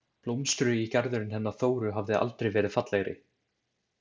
Blómstrugi garðurinn hennar Þóru hafði aldrei verið fallegri.